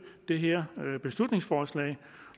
det her beslutningsforslag